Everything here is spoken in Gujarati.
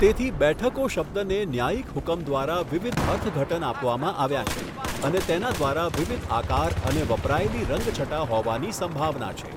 તેથી બેઠકો શબ્દને ન્યાયિક હુકમ દ્વારા વિવિધ અર્થઘટન આપવામાં આવ્યા છે અને તેના દ્વારા વિવિધ આકાર અને વપરાયેલી રંગછટા હોવાની સંભાવના છે.